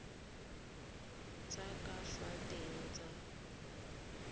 tsa ka fa teng tsa